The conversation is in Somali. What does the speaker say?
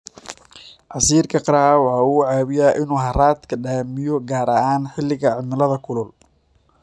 Casiirka qaraha waxa uu caawiyaa in uu haraadka damiyo gaar ahaan xilliga cimilada kulul.